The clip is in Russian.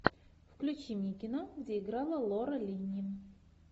включи мне кино где играла лора линни